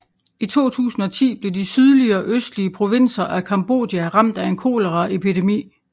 I 2010 blev de sydlige og østlige provinser af Cambodja ramt af en koleraepidemi